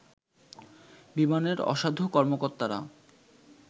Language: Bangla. বিমানের অসাধু কর্মকর্তারা